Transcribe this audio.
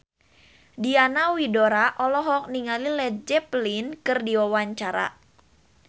Diana Widoera olohok ningali Led Zeppelin keur diwawancara